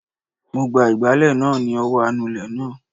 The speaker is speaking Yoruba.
Mo gba ìgbálẹ̀ náà ni ọwọ́ anulẹ̀ náà